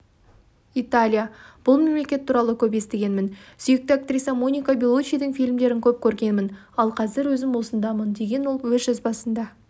италия бұл мемлекет туралы көп естігенмін сүйікті актрисам моника беллучидің фильмдерін көп көргенмін ал қазір өзім осындамын деген ол өз жазбасында